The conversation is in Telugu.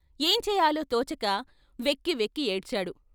ఏం చేయాలో తోచక వెక్కి వెక్కి ఏడ్చాడు.